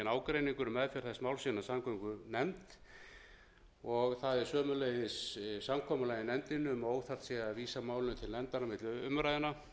ágreiningur um meðferð þess máls innan samgöngunefndar og það er sömuleiðis samkomulag í nefndinni um að óþarft sé að vísa málinu til nefndar á milli umræðna og